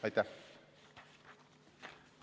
Aitäh!